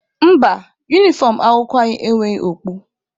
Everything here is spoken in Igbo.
Mba, unifọm akwụkwọ anyị enweghị okpu.